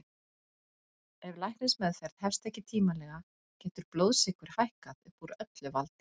Ef læknismeðferð hefst ekki tímanlega getur blóðsykur hækkað upp úr öllu valdi.